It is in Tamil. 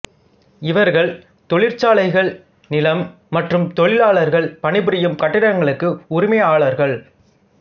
இவர்கள் தொழிற்சாலைகள் நிலம் மற்றும் தொழிலாளர்கள் பணி புரியும் கட்டிடங்களுக்கு உரிமையாளர்கள்